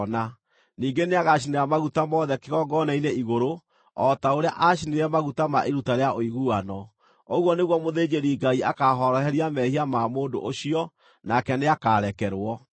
Ningĩ nĩagacinĩra maguta mothe kĩgongona-inĩ igũrũ o ta ũrĩa aacinire maguta ma iruta rĩa ũiguano. Ũguo nĩguo mũthĩnjĩri-Ngai akaahoroheria mehia ma mũndũ ũcio, nake nĩakarekerwo.